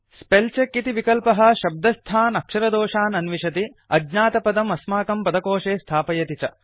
spell check इति विकल्पः शब्दस्थान् अक्षरदोषान् अन्विषति अज्ञातपदम् अस्माकं पदकोशे स्थापयति च